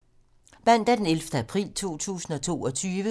Mandag d. 11. april 2022